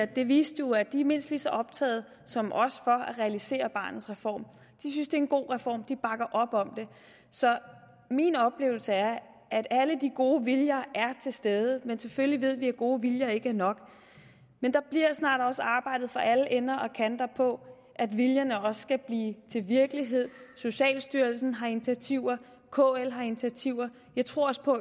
det viste jo at de er mindst lige så optaget som os af at realisere barnets reform de synes det er en god reform de bakker op om den så min oplevelse er at alle de gode viljer er til stede men selvfølgelig ved vi at gode viljer ikke er nok men der bliver snart arbejdet fra alle ender og kanter på at viljerne også skal blive til virkelighed socialstyrelsen har initiativer kl har initiativer jeg tror også på